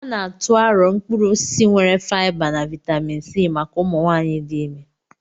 A na-atụ arọ̀ mkpụrụ osisi nwere faịba na vaịtamịn C maka ụmụ nwanyị dị ime.